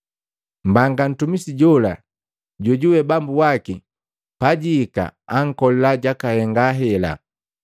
Mbanga mtumisi jola jojuwe bambu waki pajihika ankolila jakahenga hela.